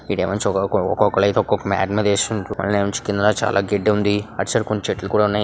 ఈడేమో ఒక్కొక్కలైతే ఒక్కొక్క మ్యాట్ మీద ఏసుకొని కాళ్ళు ని వన్చుతున్నారు చాలా గడ్డిఉంది అటు సైడ్ కూడా చెట్లు కూడా ఉన్నాయి.